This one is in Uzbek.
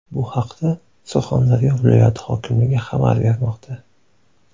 Bu haqda Surxondaryo viloyati hokimligi xabar bermoqda .